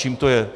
Čím to je?